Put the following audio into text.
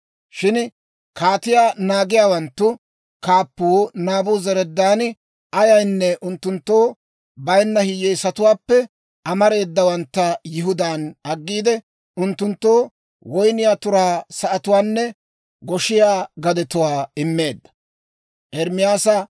Shin kaatiyaa naagiyaawanttu kaappuu Naabuzaradaani ayaynne unttunttoo bayinna hiyyeesatuwaappe amareedawantta Yihudaan aggiide, unttunttoo woyniyaa turaa sa'atuwaanne goshiyaa gadetuwaa immeedda.